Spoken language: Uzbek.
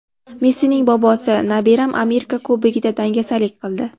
Messining bobosi: Nabiram Amerika Kubogida dangasalik qildi.